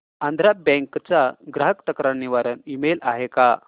Andhra bank चा ग्राहक तक्रार निवारण ईमेल आहे का